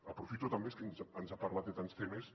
aprofito també és que ens ha parlat de tants temes